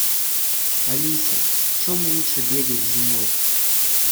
алиса в чем лучше бегать зимой